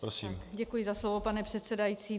Děkuji za slovo, pane předsedající.